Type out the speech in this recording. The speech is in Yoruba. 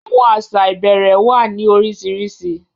Àwọn asa ìbẹ̀rẹ̀ wá ní oríṣiríṣi